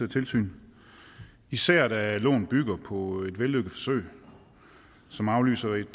tilsyn især da loven bygger på et vellykket forsøg som afløser et